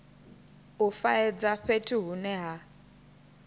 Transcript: u faedza fhethu hune ha